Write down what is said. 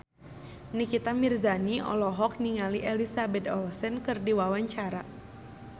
Nikita Mirzani olohok ningali Elizabeth Olsen keur diwawancara